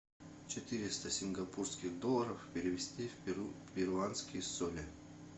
четыреста сингапурских долларов перевести в перуанские соли